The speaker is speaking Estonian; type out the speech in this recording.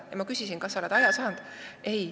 Pärast küsisin, kas sa oled aja saanud.